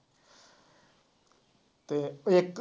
ਅਤੇ ਇੱਕ